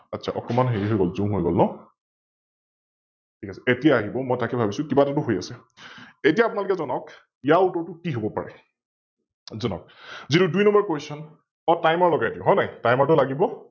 আচ্ছা অকণমান হেৰি হৈ গল Zoom হৈ গল ন? ঠিক আছে । এতিয়া আহিব, মই তাকে ভাবিচো কিবা এটাটো হৈ আছে? এতিয়া আপুনালোকে যনাওক ইয়াৰ উত্তৰটো কি হব পাৰে? যনাওক যিটো দুই NumberQuestion? অ Timer লগাই দিও হয় নাই? Timer টো লাগিব?